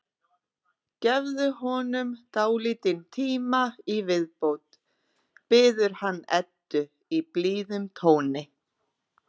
Gefðu honum dálítinn tíma í viðbót, biður hann Eddu í blíðum tóni.